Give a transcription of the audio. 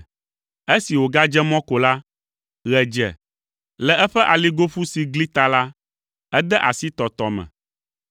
Esi wògadze mɔ ko la, ɣe dze. Le eƒe aligoƒu si gli ta la, ede asi tɔtɔ me.